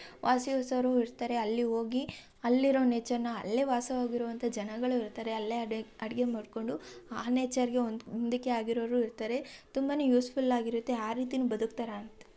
ವಾಸಿವ್ sir ಇರ್ತರೆ ಅಲ್ಲಿ ಹೋಗಿ ಅಲ್ಲಿರುವ ನೇಚರ್‌ನ ಅಲ್ಲಿ ವಾಸಿಸುವ ಜನಗಳು ಇರ್ತಾರೆ ಅಲ್ಲಿ ಹೋಗಿ ಅಡಿಗೆ ಮಾಡ್ಕೊಂಡು ಆ ನೇಚರ್ ಗೆ ಒಂದುಕ್ಕೆ ಆಗಿರಲು ಇರತರೆ ತುಂಬಾನೇ ಯೂಸ್ಫುಲ್ ಆಗಿರುತ್ತೆ ಆ ರೀತಿನೆ ಬದುಕುತ್ತಾರೆ.